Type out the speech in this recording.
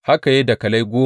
Haka ya yi dakalai goma.